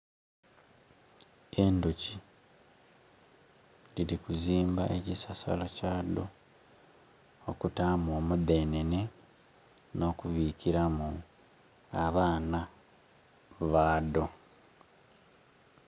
Endhoki dhiri ku zimba ekisasala kya dho okutamu omudhenene no kubikiramu abaana badho.